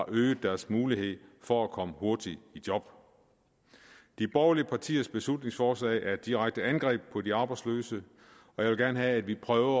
øget deres mulighed for at komme hurtigt i job de borgerlige partiers beslutningsforslag er et direkte angreb på de arbejdsløse jeg vil gerne have at vi prøver